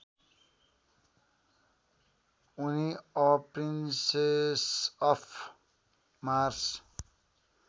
उनी a princess of Mars